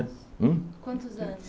Hum Quantos anos?